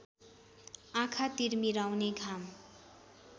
आँखा तिरमिराउने घाम